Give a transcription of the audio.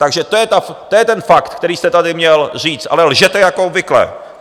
Takže to je ten fakt, který jste tady měl říct, ale lžete jako obvykle!